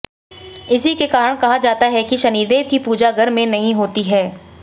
इसी के कारण कहा जाता है कि शनिदेव की पूजा घर में नहीं होती है